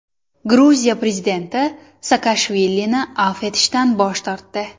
Gruziya prezidenti Saakashvilini afv etishdan bosh tortdi.